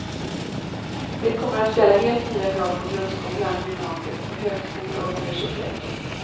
Det kommer att ställa helt nya krav på grundskolan, gymnasiet och på högskolor och universitet.